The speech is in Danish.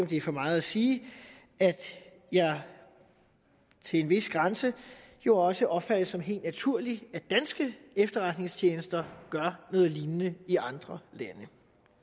det er for meget at sige at jeg til en vis grænse jo også opfatter det som helt naturligt at danske efterretningstjenester gør noget lignende i andre lande